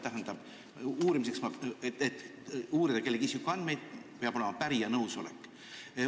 Tähendab, selleks et uurida kellegi isikuandmeid, peab olema pärija nõusolek.